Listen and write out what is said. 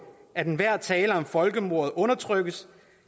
at enhver tale om folkemordet undertrykkes